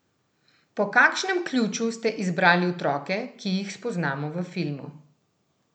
Po kakšnem ključu ste izbrali otroke, ki jih spoznamo v filmu?